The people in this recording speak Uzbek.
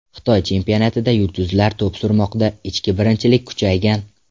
Xitoy chempionatida yulduzlar to‘p surmoqda, ichki birinchilik kuchaygan.